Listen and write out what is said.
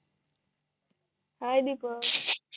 हाय Deepak